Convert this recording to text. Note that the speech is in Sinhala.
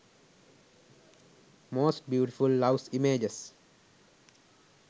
most beautiful loves images